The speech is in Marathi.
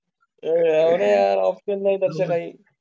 आहे ऑप्शन नाहीत असे नाही.